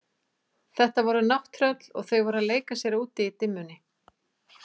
Þetta voru nátttröll og þau voru að leika sér úti í dimmunni.